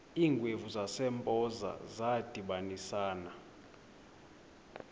iingwevu zasempoza zadibanisana